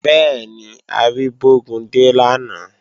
Bẹ́ẹ̀ni, a rí Bógúndé lánàá